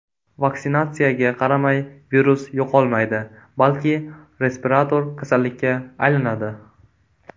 Vaksinatsiyaga qaramay, virus yo‘qolmaydi, balki respirator kasallikka aylanadi.